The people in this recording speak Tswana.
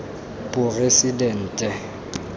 poresidente